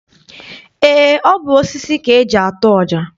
Eé, ọ bụ osisi ka eji atụ ọja.